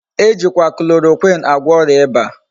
Ejikwa chloroquine agwo oria iba